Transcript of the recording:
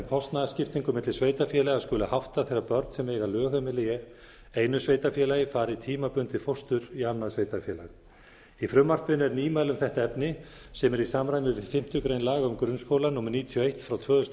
kostnaðarskiptingu milli sveitarfélaga skuli háttað þegar börn sem eiga lögheimili í einu sveitarfélagi fari í tímabundið fóstur í annað sveitarfélag í frumvarpinu er nýmæli um þetta efni sem er í samræmi við fimmtu grein laga um grunnskóla númer níutíu og eitt tvö þúsund og